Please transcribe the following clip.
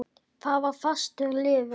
Það var fastur liður.